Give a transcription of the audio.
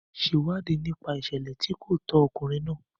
Ṣe ìwádìí nípa ìṣẹ̀lẹ̀ tí kò tọ́ ọkùnrin náà.